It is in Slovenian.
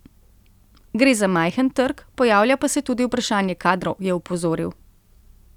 Gre za majhen trg, pojavlja pa se tudi vprašanje kadrov, je opozoril.